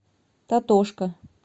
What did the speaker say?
татошка